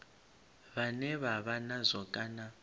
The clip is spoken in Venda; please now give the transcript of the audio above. vhane vha vha nazwo kana